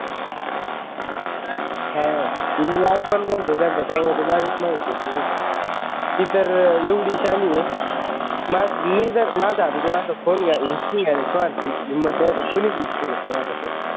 हा मी लाड पण करतो त्यांचं त्याच्यामुळे ती माझ्याच मग फिरते माहितेय का ती तर एवढी शहाणी आहे मा मी जर आता तुला फोन हिसकावून घ्यायला आता कोणाची हिम्मत नाही कोणी बी हिसकावून घ्या माझा फोन